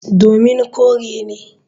Domin kore ne.